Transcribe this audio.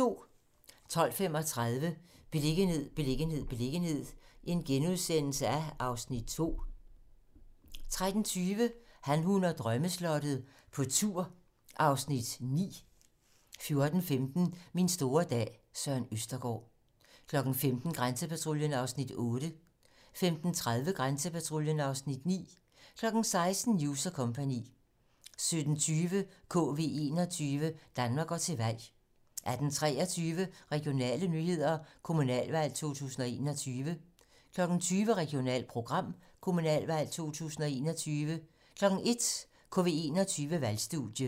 12:35: Beliggenhed, beliggenhed, beliggenhed (Afs. 2)* 13:20: Han, hun og drømmeslottet - på tur (Afs. 9) 14:15: Min store dag - Søren Østergaard 15:00: Grænsepatruljen (Afs. 8) 15:30: Grænsepatruljen (Afs. 9) 16:00: News & co. 17:20: KV 21 - Danmark går til valg 18:23: Regionale nyheder: Kommunalvalg 2021 20:00: Regionalprogram: Kommunalvalg 2021 01:00: KV 21-Valgstudie